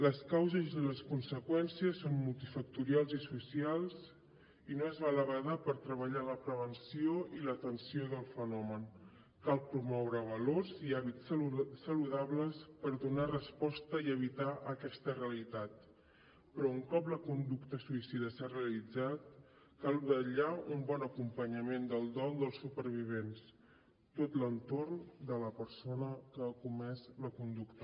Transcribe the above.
les causes i les conseqüències són multifactorials i socials i no es val a badar per treballar la prevenció i l’atenció del fenomen cal promoure valors i hàbits saludables per donar resposta i evitar aquesta realitat però un cop la conducta suïcida s’ha realitzat cal vetllar per un bon acompanyament del dol dels supervivents tot l’entorn de la persona que ha comès la conducta